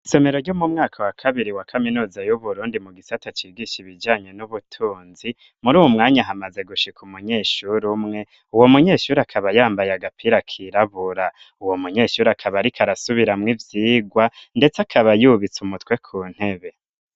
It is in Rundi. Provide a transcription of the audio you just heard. Isomero ryo mu mwaka wa kabiri wa kaminuza y'uburundi mu gisaata cigisha ibijanye n'ubutunzi muri uwu mwanya hamaze gushika umunyeshuri umwe uwo munyeshuri akaba yambaye agapira kirabura. Uwo munyeshuri akaba arika arasubiramwo ivyigwa ndetse akaba yubitse umutwe ku ntebe.